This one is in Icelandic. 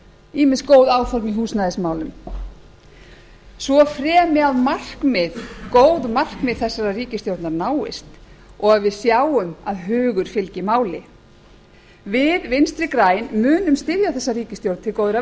ýmis góð áform í húsnæðismálum svo fremi að góð markmið þessarar ríkisstjórnar náist og að við sjáum að hugur fylgi máli við vinstri græn munum styðja þessa ríkisstjórn til góðra